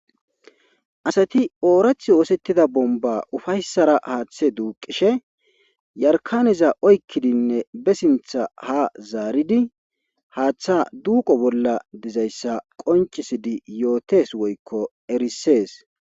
Asati oorath yoosettida bomba ufayssara haaththe duuqishe yarkaneza oykkidinne be sintha ha zaaridi haaththa duuqo bolla dizayssa qoncisidi yootes woykko erissees